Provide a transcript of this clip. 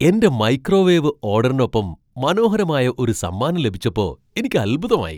എന്റെ മൈക്രോവേവ് ഓഡറിനൊപ്പം മനോഹരമായ ഒരു സമ്മാനം ലഭിച്ചപ്പോ എനിക്ക് അൽഭുതമായി.